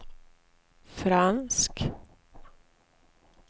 fransk